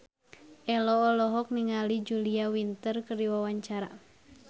Ello olohok ningali Julia Winter keur diwawancara